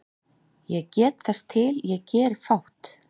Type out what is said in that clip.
Ég get þess til ég geri fátt